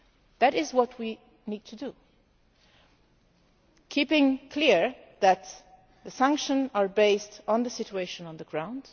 That is what we need to do, making it clear that the sanctions are based on the situation on the ground.